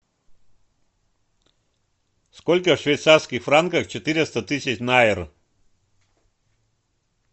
сколько в швейцарских франках четыреста тысяч найр